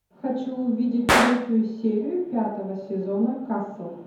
хочу увидеть третью серию пятого сезона касл